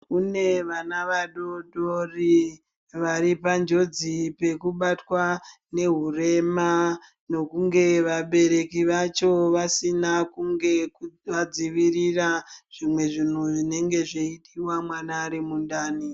Kune vana vadoodori varipanjodzi pekubatwa neuhurema nokunge vabereki vacho vasina kunge vadzivirira zvimwe zvinhu zvinenge zveipuwa mwana arimundani.